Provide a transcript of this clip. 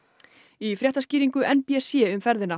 í fréttaskýringu n b c um ferðina